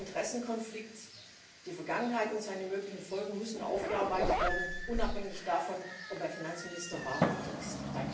Der Interessenkonflikt, die Vergangenheit und seine möglichen Folgen müssen aufgearbeitet werden, unabhängig davon, ob er Finanzminister war oder ist.